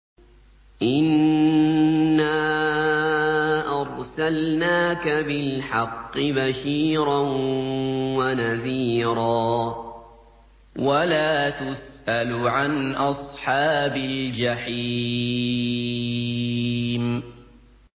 إِنَّا أَرْسَلْنَاكَ بِالْحَقِّ بَشِيرًا وَنَذِيرًا ۖ وَلَا تُسْأَلُ عَنْ أَصْحَابِ الْجَحِيمِ